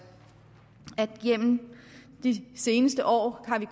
igennem de seneste år har vi